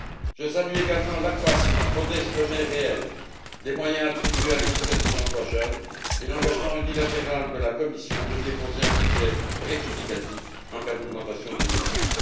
Je salue également l'accroissement, modeste mais réel, des moyens attribués à l'initiative pour l'emploi des jeunes et l'engagement unilatéral de la Commission de déposer un budget rectificatif en cas d'augmentation des besoins.